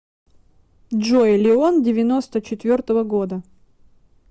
джой леон девяносто четвертого года